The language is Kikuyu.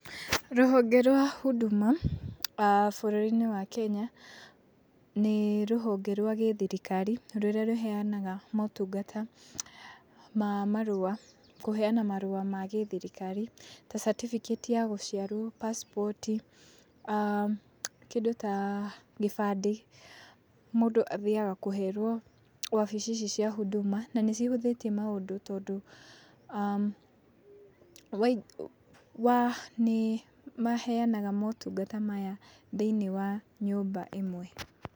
Rũhonge rwa huduma bũrũrinĩ wa Kenya nĩ rũhonge rwa gĩthirikari rũrĩa rũheanaga motungata ma marũa, kũheana marũa ma gĩthirikari ta catĩbĩkĩti ya gũciarwo, pacipoti, kĩndũ ta gĩbandĩ mundũ athiaga kũherwo wabici ici cia hunduma na nĩ cihũthĩtie maũndũ tondũ nĩ maheanaga motungata maya thĩiniĩ wa nyũmba ĩmwe.